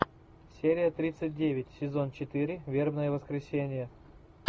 серия тридцать девять сезон четыре вербное воскресенье